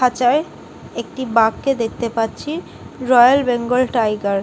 খাঁচায় একটি বাঘকে দেখতে পাচ্ছি রয়্যাল বেঙ্গল টাইগার ।